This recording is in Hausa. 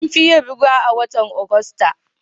An fi yin ruwa a watan Agusta.